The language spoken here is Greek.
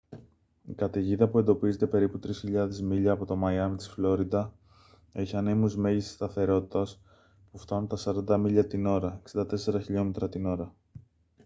η καταιγίδα που εντοπίζεται περίπου 3.000 μίλια από το μαϊάμι της φλόριντα έχει ανέμους μέγιστης σταθερότητας που φτάνουν τα 40 μίλια την ώρα 64 χλμ την ώρα